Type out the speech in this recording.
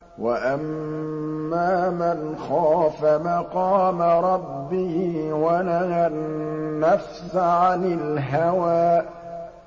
وَأَمَّا مَنْ خَافَ مَقَامَ رَبِّهِ وَنَهَى النَّفْسَ عَنِ الْهَوَىٰ